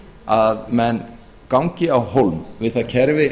að menn gangi á hólm við það kerfi